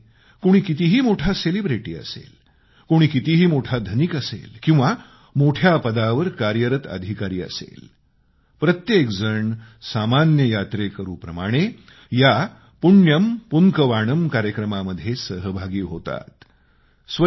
आता यामध्ये कोणी कितीही मोठी सेलेब्रिटी असेल कोणी कितीही मोठा धनिक असेल किंवा मोठ्या पदावर कार्यरत अधिकारी असेल प्रत्येकजण सामान्य यात्रेकरूप्रमाणे या पुण्यम पुन्कवाणम कार्यक्रमामध्ये सहभागी होतात